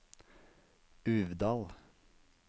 Uvdal